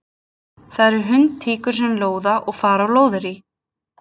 Það eru hundtíkur sem lóða og fara á lóðarí.